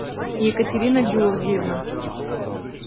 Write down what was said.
екатерина георгиевна